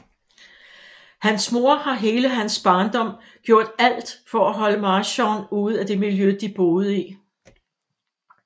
Hans mor har hele hans barndom gjort alt for at holde Marshawn ude af det miljø de boede i